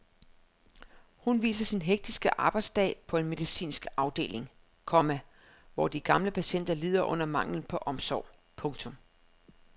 Hun viser sin hektiske arbejdsdag på en medicinsk afdeling, komma hvor de gamle patienter lider under manglen på omsorg. punktum